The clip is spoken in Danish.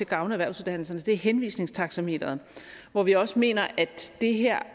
gavne erhvervsuddannelserne er henvisningstaxameteret hvor vi også mener at det her